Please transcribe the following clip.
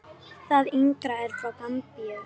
Það yngra er frá Gambíu.